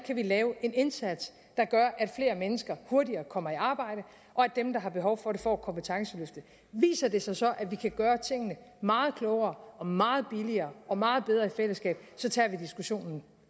lave en indsats der gør at flere mennesker hurtigere kommer i arbejde og at dem der har behov for det får et kompetenceløft viser det sig så at vi kan gøre tingene meget klogere og meget billigere og meget bedre i fællesskab så tager vi diskussionen